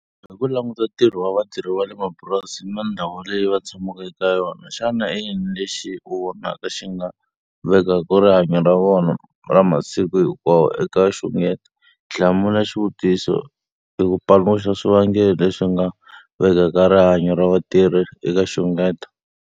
Hi ku languta ntirho wa vatirhi va le mapurasini na ndhawu leyi va tshamaka eka yona, xana i yini lexi u vonaka xi nga vekaka rihanyo ra vona ra masiku hinkwawo eka nxungeto? Hlamula xivutiso hi ku paluxa swivangelo leswi nga vekaka rihanyo ra vatirhi eka nxungeto.